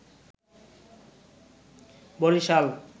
Barishal